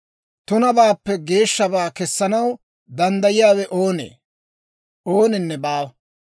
Tunabaappe geeshshabaa kessanaw danddayiyaawe oonee? Ooninne baawa.